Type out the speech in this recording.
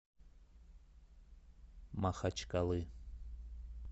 махачкалы